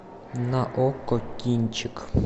на окко кинчик